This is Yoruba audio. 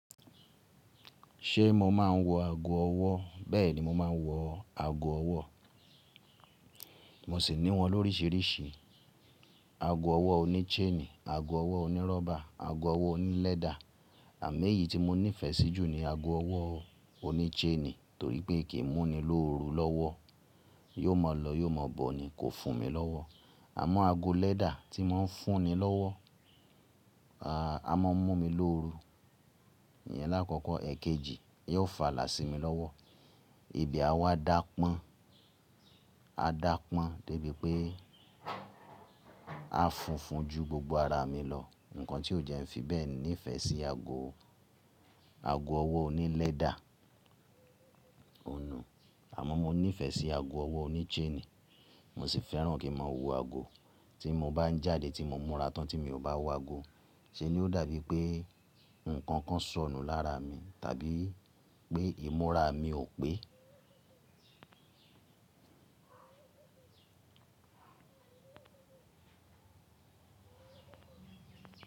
Ṣé mo máa ń wọ ago ọwọ́? Bẹ́ẹ̀ni, mo máa ń wọ ago ọwọ́. Mo sì ní wọn lóríṣiríṣi, ago ọwọ́ oní chain, ago ọwọ́ onírọ́bà, ago ọwọ́ oní lẹ́dà. Àmọ eyìí tí mo nífẹ̀ẹ́ sí jù ní ago ọwọ́ oní chain, torí pé kì í múni lóru lọ́wọ́. Yóò máa lọ, yóò máa bọ̀ ni, kò fún mi lọ́wọ́. Àmọ́ ago lẹ́dà tíì ń fúnni lọ́wọ́, à, a máa ń mú mi lóru. Iyẹn lákọ̀ọ̀kọ́, èkejì, yóò fàlà sí mi lọ́wọ́. Ibi à wá dapọ́n, á dapọ́n débi pé á funfun ju gbogbo ara mi lọ. Nǹkan tí ó jẹ́ ń fi bẹ́ẹ̀ ni ìfẹ́ sí ago, ago ọwọ́ oní lẹ́dà. Ohùn nu. Àmọ́ mo nífẹ̀ẹ́ sí ago ọwọ́ oní chain. Mo sì fẹ́ràn kí ma wọ ago. Tí mo bá ń jáde, tí mo múra tán tí mi ò bá wọ ago, ṣé ni ó dàbí pé ǹkan kan sọ̀nù lára mi, tàbí pé ìmúra mi ò pé.